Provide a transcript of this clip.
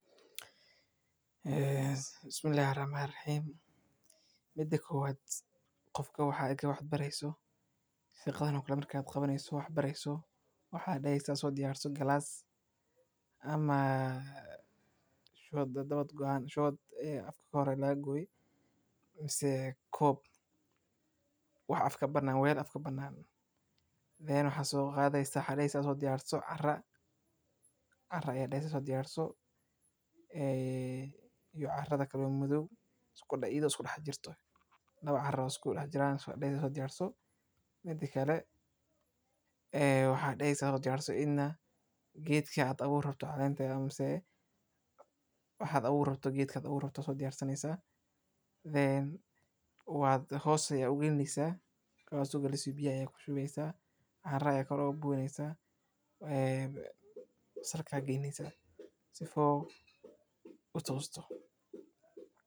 Qofka marka uu wax beerayo, hadday yaraato (glass) mise koob, weel afka ka bannaan, wuxuu soo diyaarsanayaa carro iyo carro madow isugu jirta. Geedka uu abuurayo caleentiisa hoos ayuu u gelinayaa, biyo ayuu ku shubayaa, carro kor ugu shubayaa si uu tooso.